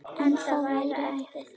En það væri eftir því.